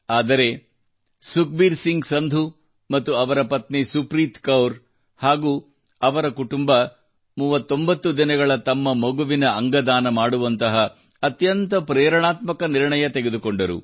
ಆದರೆ ಸುಖಬೀರ್ ಸಿಂಗ್ ಸಂಧು ಅವರ ಪತ್ನಿ ಸುಪ್ರೀತ್ ಕೌರ್ ಹಾಗೂ ಅವರ ಕುಟುಂಬ 39 ದಿನಗಳ ತಮ್ಮ ಮಗುವಿನ ಅಂಗದಾನ ಮಾಡುವಂತಹ ಅತ್ಯಂತ ಪ್ರೇರಣಾತ್ಮಕ ನಿರ್ಣಯ ತೆಗೆದುಕೊಂಡರು